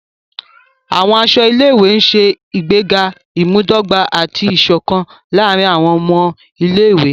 Àwọn aṣọ ilé-ìwé ṣe ìgbéga imudogba ati iṣọkan láàrin awọn ọmọ Ilé-ìwé.